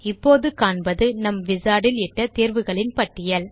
இப்போது காண்பது நம் Wizardயில் இட்ட தேர்வுகளின் பட்டியல்